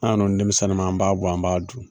An dun denmisɛnnin man, an b'a bɔ an b'a dun.